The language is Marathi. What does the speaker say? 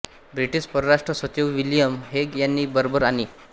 ब्रिटिश परराष्ट्र सचिव विलियम हेग यांनी बर्बर आणि